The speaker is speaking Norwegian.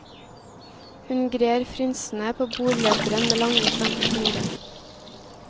Hun grer frynsene på bordløperen med lange, slanke fingre.